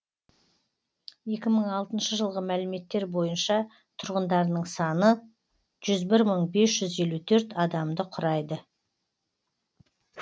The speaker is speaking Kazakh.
екі мың алтыншы жылғы мәліметтер бойынша тұрғындарының саны жүз бір мың бес жүз елу төрт адамды құрайды